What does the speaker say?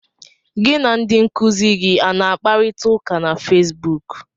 Gị na ndị nkuzi gị a na-akparịta ụka na Fesbuk?